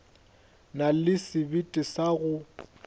na le sebete sa go